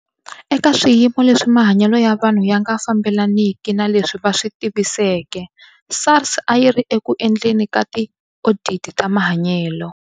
Eka swiyimo lwesi mahanyelo ya vanhu ya nga fambelaniki na leswi a swi tiviseke, SARS a yi ri eku endleni ka tioditi ta mahanyelo.